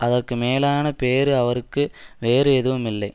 அதற்கு மேலான பேறு அவருக்கு வேறு எதுவுமில்லை